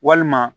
Walima